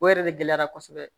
O yɛrɛ de gɛlɛyara kosɛbɛ